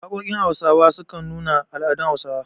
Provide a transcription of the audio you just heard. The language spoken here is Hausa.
Waƙoƙin Hausawa sukan nuna al'adun Hausawa.